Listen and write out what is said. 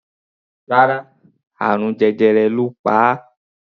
Rárá, àrùn jẹjẹrẹ ló pa á.